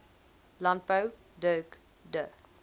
landbou dirk du